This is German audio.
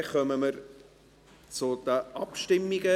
Dann kommen wir zu den Abstimmungen.